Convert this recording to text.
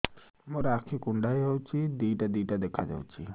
ମୋର ଆଖି କୁଣ୍ଡାଇ ହଉଛି ଦିଇଟା ଦିଇଟା ଦେଖା ଯାଉଛି